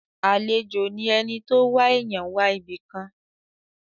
Àlejò ni ẹni tó wá èèyàn wá ibìkan.